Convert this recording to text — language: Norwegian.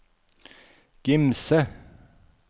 Gimse